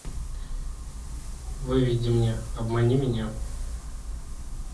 выведи мне обмани меня